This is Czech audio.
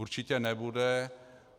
Určitě nebude.